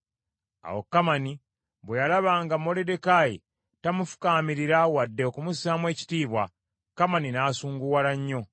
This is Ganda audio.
Awo Kamani bwe yalaba nga Moluddekaayi tamufukaamirira wadde okumussaamu ekitiibwa, Kamani n’asunguwala nnyo.